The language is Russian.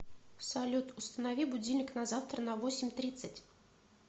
салют установи будильник на завтра на восемь тридцать